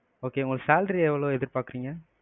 okay உங்க salary எவளோ எதிர்ப்பாக்குறீங்க?